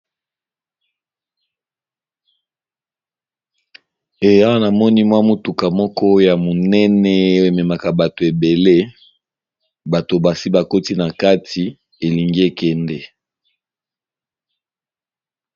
Eya na moni mwa mutuka moko ya monene ememaka bato ebele. Bato basi bakoti na kati elingi ekende.